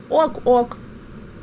ок ок